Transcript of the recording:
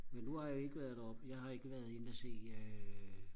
men nu har jeg ikke været deroppe jeg har ikke været inde og se øh